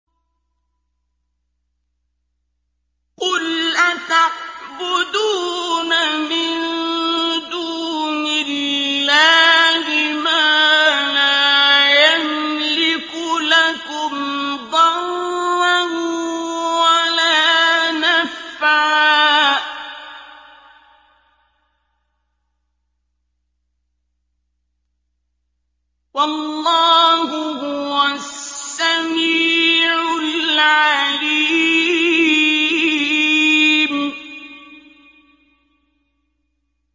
قُلْ أَتَعْبُدُونَ مِن دُونِ اللَّهِ مَا لَا يَمْلِكُ لَكُمْ ضَرًّا وَلَا نَفْعًا ۚ وَاللَّهُ هُوَ السَّمِيعُ الْعَلِيمُ